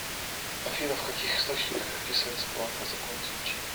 афина в каких источниках описывается планка закон излучения